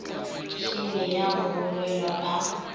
šele ya go bolelwa ka